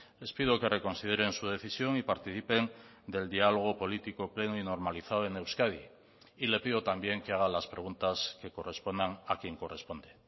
les pido que reconsideren su decisión y participen del diálogo político pleno y normalizado en euskadi y le pido también que haga las preguntas que correspondan a quien corresponde